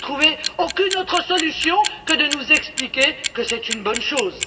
Vous ne trouvez aucune autre solution que de nous expliquer que c'est une bonne chose.